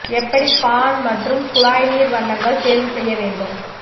எப்படி பான் மற்றும் குழாய் நீர் வண்ணங்கள் தேர்வு செய்ய வேண்டும்